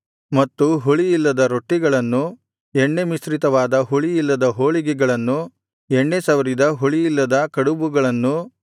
ಮತ್ತು ಹುಳಿಯಿಲ್ಲದ ರೊಟ್ಟಿಗಳನ್ನು ಎಣ್ಣೆ ಮಿಶ್ರಿತವಾದ ಹುಳಿಯಿಲ್ಲದ ಹೋಳಿಗೆಗಳನ್ನು ಎಣ್ಣೆ ಸವರಿದ ಹುಳಿಯಿಲ್ಲದ ಕಡಬುಗಳನ್ನೂ